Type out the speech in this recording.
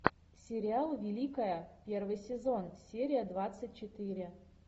сериал великая первый сезон серия двадцать четыре